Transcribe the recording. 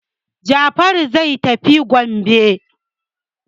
Jafaru zai tafi kwambe.